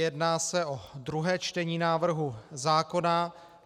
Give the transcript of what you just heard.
Jedná se o druhé čtení návrhu zákona.